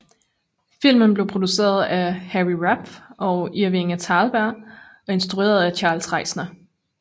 Filmen blev produceret af Harry Rapf og Irving Thalberg og instrueret af Charles Reisner